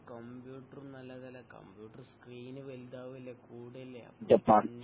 കമ്പ്യൂട്ടറും നല്ലതല്ല computer screen വലുതാവല്ലേ കൂടല്ലേ